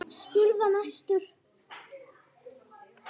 spurði hann æstur.